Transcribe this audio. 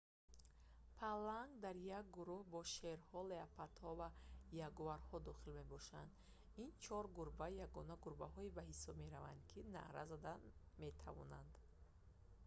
паланг дар як гурӯҳ genus panthera бо шерҳо леопардҳо ва ягуарҳо дохил мебошад. ин чор гурба ягона гурбаҳое ба ҳисоб мераванд ки наъра зада метавонанд